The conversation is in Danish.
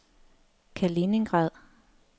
Kaliningrad